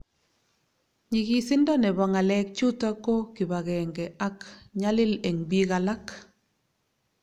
nyigisindo nebo ngalek chutok ko kibagenge ak nyalil eng piik alak